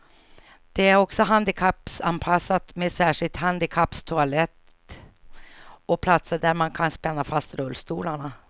Det är också handikappanpassat med särskild handikapptoalett och platser där man kan spänna fast rullstolarna.